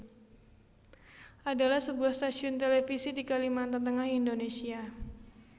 adalah sebuah stasiun televisi di Kalimantan Tengah Indonesia